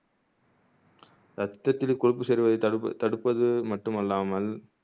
ரத்தத்தில் கொழுப்பு சேருவதை தடுப் தடுப்பது மட்டுமல்லாமல்